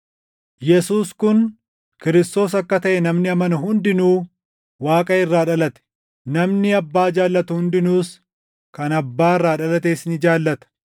Yesuus kun Kiristoos akka taʼe namni amanu hundinuu Waaqa irraa dhalate; namni Abbaa jaallatu hundinuus kan Abbaa irraa dhalates ni jaallata.